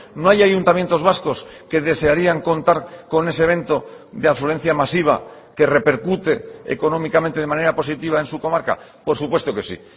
no hay ayuntamientos vascos que desearían contar con ese evento de afluencia masiva que repercute económicamente de manera positiva en su comarca por supuesto que sí